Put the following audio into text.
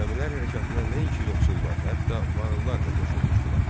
Xürrəmilər hərəkatına nəinki yoxsullar, hətta varlılar da qoşulmuşdular.